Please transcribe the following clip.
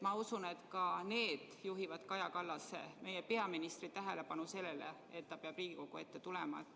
Ma usun, et ka need juhivad Kaja Kallase, meie peaministri tähelepanu sellele, et ta peab Riigikogu ette tulema.